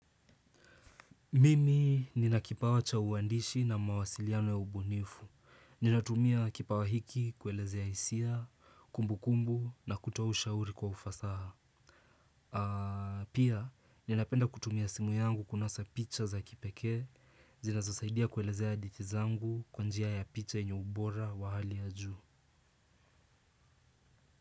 Mimi ninakipawa cha uwandishi na mawasiliano ya ubunifu. Ninatumia kipawa hiki kuelezea hisia, kumbukumbu na kutoa ushauri kwa ufasaha. Pia ninapenda kutumia simu yangu kunasa picha za kipekee, zinazosaidia kuelezea hadithi zangu kwa njia ya picha yenye ubora wa hali ya juu.